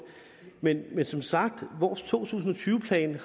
men som sagt har vores to tusind og tyve plan